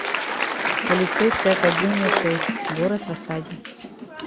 полицейская академия шесть город в осаде